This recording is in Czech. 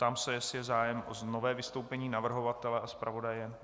Ptám se, jestli je zájem o nové vystoupení navrhovatele a zpravodaje?